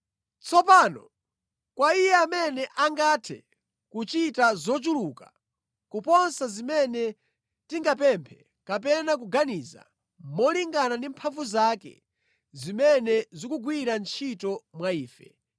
Tsopano kwa Iye amene angathe kuchita zochuluka kuposa zimene tingapemphe, kapena kuganiza molingana ndi mphamvu zake zimene zikugwira ntchito mwa ife,